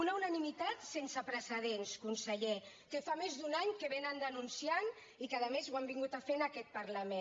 una unanimitat sense precedents conseller que fa més d’un any que vénen denunciant i que a més ho han vingut a fer a aquest parlament